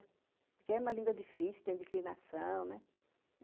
Porque é uma língua difícil, tem declinação, né?